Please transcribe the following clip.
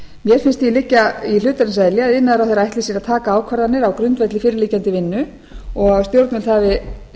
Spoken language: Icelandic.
mér finnst því liggja í hlutarins eðli að iðnaðarráðherra ætli sér að taka ákvarðanir á grundvelli fyrirliggjandi vinnu og að stjórnvöld hafi